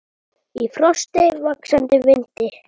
Í frosti, vaxandi vindi.